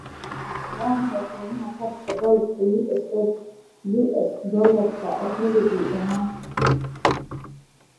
Waa maxay qiimaha sarrifka dollarka US dollarka rubuci ee maanta?